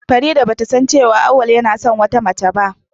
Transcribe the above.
Farida bata san cewa Awwal yana son wata mace ba.